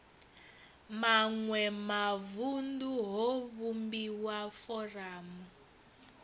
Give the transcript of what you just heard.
maṋwe mavunḓu ho vhumbiwa foramu